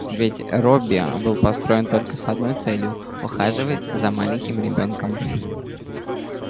ведь робби был построен только с одной целью ухаживать за маленьким ребёнком